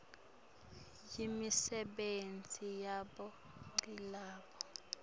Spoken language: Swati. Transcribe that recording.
yimisebenti yabo ngilabo